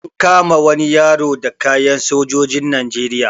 An kama wani yaro da kayan sojojin Najeriya.